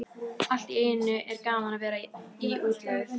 Allt í einu er gaman að vera í útlegð.